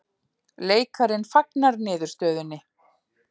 Leikarinn fagnar niðurstöðunni